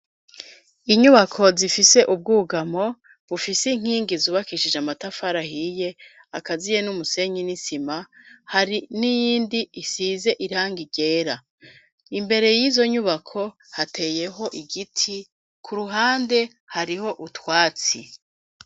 Inyubako zifise ubwugamo bufise inkingi zubakishije amatafarahiye akaziye n'umusenyi n'isima hari n'iyindi isize iranga irera imbere y'izo nyubako hateyeho igiti ku ruhande hariho utwatsi.